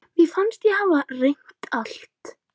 Mér fannst ég hafa reynt allt.